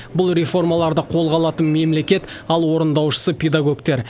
бұл реформаларды қолға алатын мемлекет ал орындаушысы педагогтер